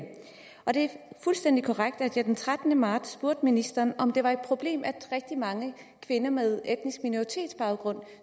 det er fuldstændig korrekt at jeg den trettende marts spurgte ministeren om det er et problem at rigtig mange kvinder med etnisk minoritetsbaggrund